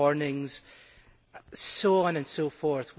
early warnings and so on and so forth.